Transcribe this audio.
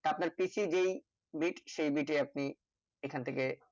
তা আপনার PC যেই bit সেই bit এ আপনি এইখান থেকে